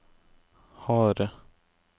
harde